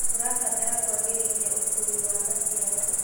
Tũrabatara kũagĩrithia ũkuui wa maciaro.